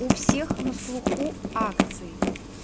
у всех на слуху акции